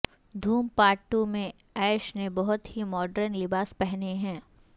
دھوم part two میں ایش نے بہت ہی ماڈرن لباس پہنے ہیں